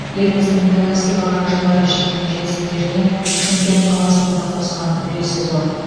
еліміздің тәуелсіздік алған жылдары жеткен жетістіктеріне шымкент қаласының да қосқан үлесі зор